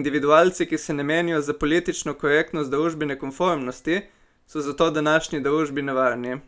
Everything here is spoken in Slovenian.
individualci, ki se ne menijo za politično korektnost družbene konformnosti, so zato današnji družbi nevarni.